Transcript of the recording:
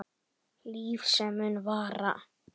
Líf sem mun vara.